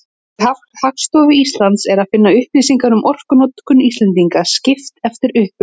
Á vef Hagstofu Íslands er að finna upplýsingar um orkunotkun Íslendinga, skipt eftir uppruna.